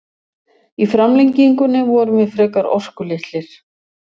Í framlengingunni vorum við frekar orkulitlir.